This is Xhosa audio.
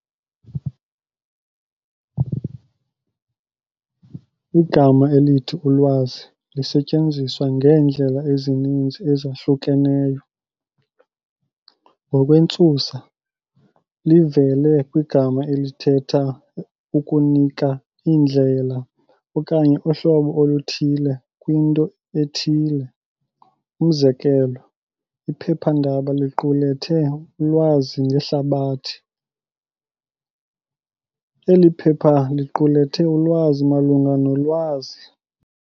Igama elithi "ulwazi" lisetyenziswa ngeendlela ezininzi ezahlukeneyo. Ngokwentsusa, livela kwigama elithetha ukunika indlela okanye uhlobo oluthile kwinto ethile. Umzekelo, iphephandaba liqulethe ulwazi ngehlabathi. Eli phepha liqulethe ulwazi malunga no"lwazi".